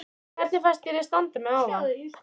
Hvernig fannst þér ég standa mig áðan?